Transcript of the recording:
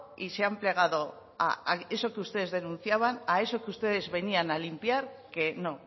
y se han plegado a eso que ustedes denunciaban a eso que ustedes venían a limpiar que no